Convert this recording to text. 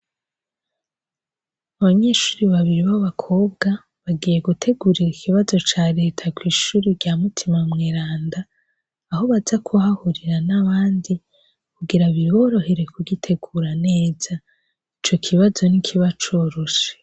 Abanyeshuri babiri bo bakobwa bagiye gutegurira ikibazo ca leta kw'ishuri rya mutima mweranda aho baza kuhahurira n'abandi kugira biriborohere kugitegura neza ico kibazo n'ikiba coroshe.